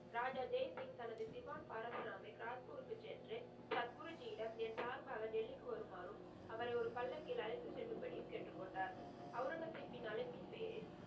ராஜா ஜெய் சிங்க் தனது திவான் பரசுராமை காட்புருக்கு சென்று சப் குருஜியிடம் என் சார்பாக டெல்லிக்கு வருமாறும், அவரை ஒரு பள்ளக்கில் அழைத்து செல்லும் படியும் கேட்டு கொண்டார். அவுரங்கசீப்பின் அழைப்பின் பெயரில்,